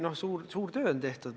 Noh, suur töö on tehtud.